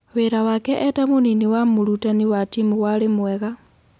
Wĩra wake eta-mũnini wa mũrutani wa timu warĩ mwega.